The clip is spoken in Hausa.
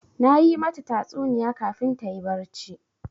Na yi mata tatsuniya kafin ta yi barci.